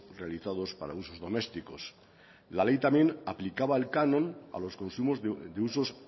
realizados para usos domésticos la ley también aplicaba el canon a los consumos de usos